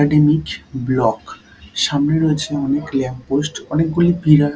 academic block সামনে রয়েছে অনেক ল্যাম্প পোস্ট অনেকগুলি পিলা--